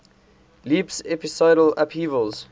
leaps episodal upheavals